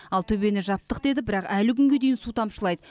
ал төбені жаптық деді бірақ әлі күнге дейін су тамшылайды